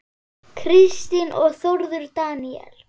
Kristín og Þórður Daníel.